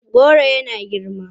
Goron suna girma.